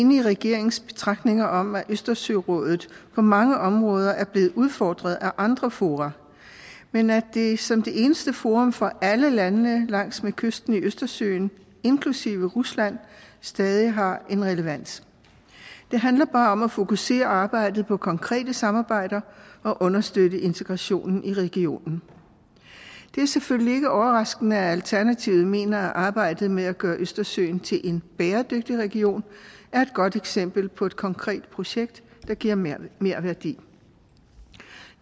enig i regeringens betragtninger om at østersørådet på mange områder er blevet udfordret af andre fora men at det som det eneste forum for alle landene langs med kysten i østersøen inklusive rusland stadig har en relevans det handler bare om at fokusere arbejdet på konkrete samarbejder og understøtte integrationen i regionen det er selvfølgelig ikke overraskende at alternativet mener at arbejdet med at gøre østersøen til en bæredygtig region er et godt eksempel på et konkret projekt der giver merværdi